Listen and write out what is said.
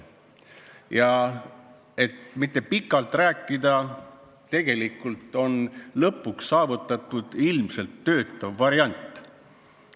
Ma ei taha pikalt rääkida ja ütlen vaid, et tegelikult on lõpuks saavutatud ilmselt töötav variant.